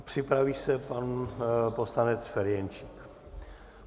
Připraví se pan poslanec Ferjenčík.